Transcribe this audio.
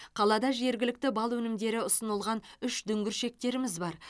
қалада жергілікті бал өнімдері ұсынылған үш дүңгіршектеріміз бар